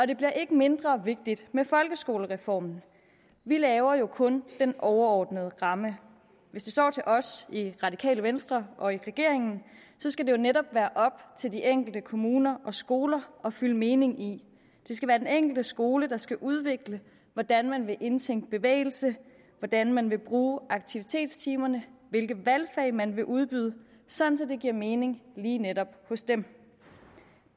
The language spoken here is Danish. det bliver ikke mindre vigtigt med folkeskolereformen vi laver jo kun den overordnede ramme hvis det står til os i radikale venstre og i regeringen skal det netop være op til de enkelte kommuner og skoler at fylde mening i det skal være den enkelte skole der skal udvikle hvordan man vil indtænke bevægelse hvordan man vil bruge aktivitetstimerne hvilke valgfag man vil udbyde sådan at det giver mening lige netop hos dem